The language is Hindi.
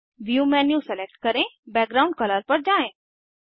व्यू मेन्यू सेलेक्ट करें बैकग्राउंड कलर पर जाएँ